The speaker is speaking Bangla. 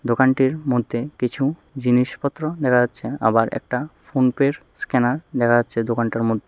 দোকানটির মধ্যে কিছু জিনিসপত্র দেখা যাচ্ছে আবার একটা ফোনপের স্ক্যানার দেখা যাচ্ছে দোকানটার মধ্যে।